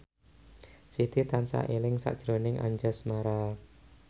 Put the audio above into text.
Siti tansah eling sakjroning Anjasmara